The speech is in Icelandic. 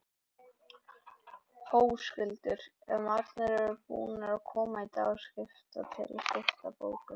Höskuldur: Eru margir búnir að koma í dag og skipta, til að skipta bókum?